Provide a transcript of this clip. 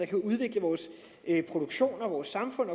kan udvikle vores produktion og vores samfund